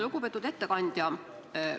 Lugupeetud ettekandja!